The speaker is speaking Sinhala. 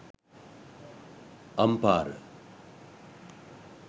ampara